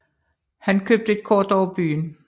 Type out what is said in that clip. Han købte et kort over byen